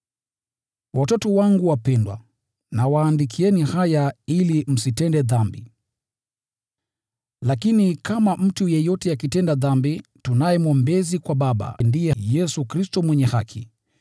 Watoto wangu wapendwa, nawaandikia haya ili msitende dhambi. Lakini kama mtu yeyote akitenda dhambi, tunaye Mwombezi kwa Baba: ndiye Yesu Kristo, Mwenye Haki.